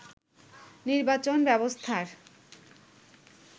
নির্বাচন ব্যবস্থার